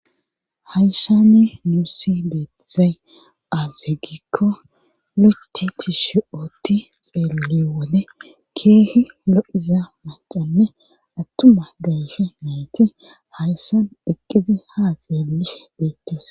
Hayssanni nuussi beethesay azugikko locce ti shi'ooti xeeliwone keehi lo'iza macanne attuma gayshe nayti hayssan deqqizi haa xeelishe beettis.